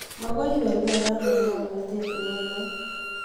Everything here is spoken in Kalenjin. magoi iberbera eng ngamnatet neu no